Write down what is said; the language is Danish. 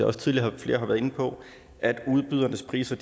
også tidligere har været inde på at udbydernes priser